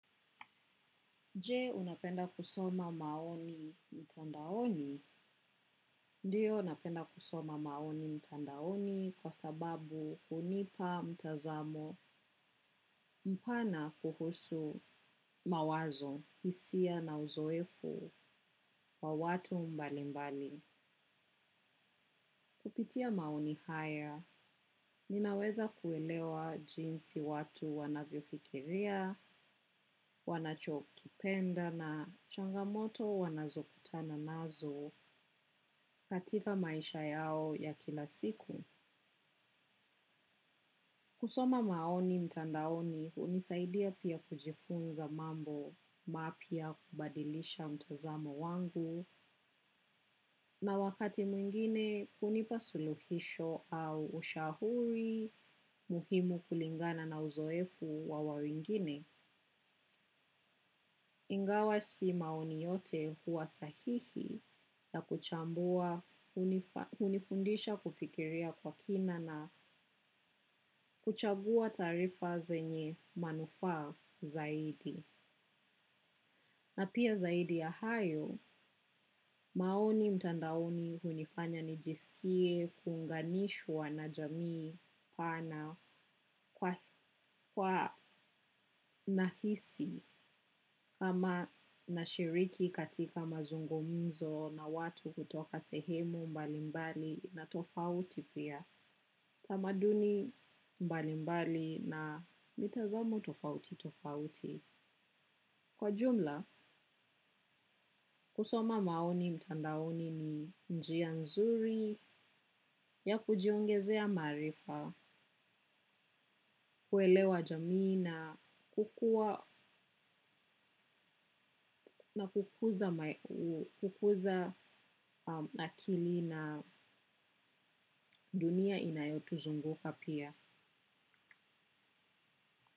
Je, unapenda kusoma maoni mtandaoni? Ndio, napenda kusoma maoni mtandaoni kwa sababu hunipa mtazamo mpana kuhusu mawazo, hisia na uzoefu kwa watu mbali mbali. Kupitia maoni haya, ninaweza kuelewa jinsi watu wanavyo fikiria, wanacho kipenda na changamoto wanazo kutana nazo katika maisha yao ya kila siku. Kusoma maoni mtandaoni unisaidia pia kujifunza mambo mapya, kubadilisha mtozamo wangu na wakati mwingine, kunipa suluhisho au ushahuri muhimu kulingana na uzoefu wa wawingine. Ingawa si maoni yote huwa sahihi, ya kuchambua unifundisha kufikiria kwa kina na kuchabua tarifa zenye manufaa zaidi. Na pia zaidi ya hayo, maoni mtandaoni hunifanya nijisikie kuunganishwa na jamii pana kwa na hisi kama na shiriki katika mazungumzo na watu kutoka sehemu mbali mbali na tofauti pia. Tamaduni mbali mbali na mitazomo tofauti tofauti. Kwa jumla, kusoma maoni mtandaoni ni njia nzuri ya kujiungezea marifa, kuelewa jamii na kukuza akili na dunia inayo tuzunguka pia.